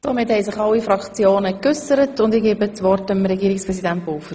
Somit haben sich alle Fraktionen geäussert, und ich gebe das Wort an Regierungspräsident Pulver.